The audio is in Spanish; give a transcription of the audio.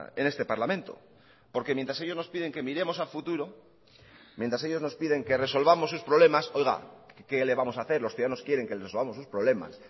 en este parlamento porque mientras ellos nos piden que miremos al futuro porque mientras ellos nos piden que resolvamos sus problemas oiga que le vamos a hacer los ciudadanos quieren que resolvamos sus problemas